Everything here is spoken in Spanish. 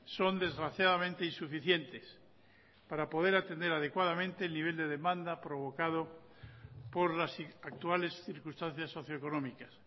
son desgraciadamente insuficientes para poder atender adecuadamente el nivel de demanda provocado por las actuales circunstancias socio económicas